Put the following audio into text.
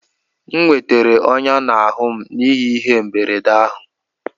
M nwetara ọnyá n'ahụ m n'ihi ihe mberede ahụ